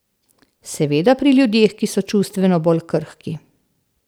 Seveda pri ljudeh, ki so čustveno bolj krhki.